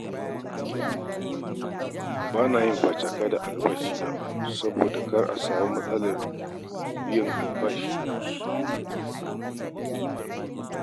Ba na yin facaka da albashina saboda kada a samu matsalar biyan albashi a kan lokaci.